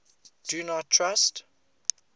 do not trust